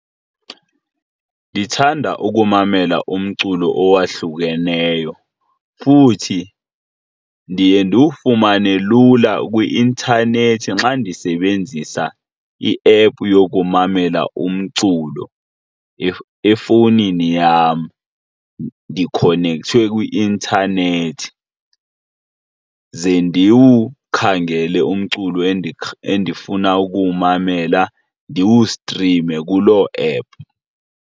Ndithanda ukumamela umculo owahlukeneyo futhi ndiye ndiwufumane lula kwi-inthanethi xa ndisebenzisa iephu yokumamela umculo efowunini yam. Ndikhonekte kwi-intanethi ze ndiwukhangela umculo endifuna ukuwumamela, ndiwustrime kuloo ephu.